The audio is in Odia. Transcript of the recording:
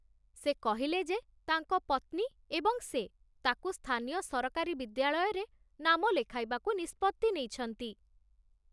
ସେ କହିଲେ ଯେ ତାଙ୍କ ପତ୍ନୀ ଏବଂ ସେ ତାକୁ ସ୍ଥାନୀୟ ସରକାରୀ ବିଦ୍ୟାଳୟରେ ନାମ ଲେଖାଇବାକୁ ନିଷ୍ପତ୍ତି ନେଇଛନ୍ତି।